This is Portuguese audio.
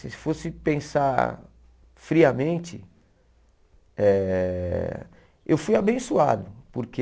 Se fosse pensar friamente, eh eu fui abençoado, porque...